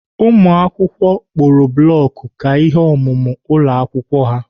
Ụmụakwụkwọ kpụrụ block ka ihe omume ụlọ akwụkwọ ha.